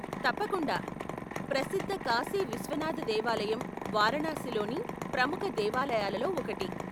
తప్పకుండా, ప్రసిద్ధ కాశీ విశ్వనాథ దేవాలయం వారణాసిలోని ప్రముఖ దేవాలయాలలో ఒకటి.